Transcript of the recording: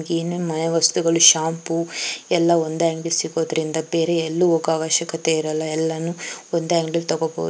ಏನೇ ಮನೆವಸ್ತುಗಳು ಶಾಂಪೂ ಎಲ್ಲ ಒಂದೇ ಅಂಗಡಿಯಲ್ಲಿ ಸಿಗೋದ್ರಿಂದ ಬೇರೆ ಎಲ್ಲು ಹೋಗೋ ಅವಶ್ಯಕತೆ ಇರಲ್ಲ ಎಲ್ಲಾನು ಒಂದೇ ಅಂಗಡಿಯಲ್ಲಿ ತಕೋಬೋದು.